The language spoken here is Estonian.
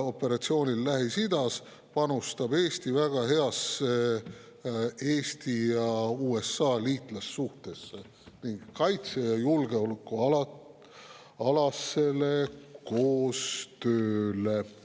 operatsioonil Lähis-Idas, panustab Eesti väga heasse Eesti ja USA liitlassuhtesse ning kaitse‑ ja julgeolekualasesse koostöösse.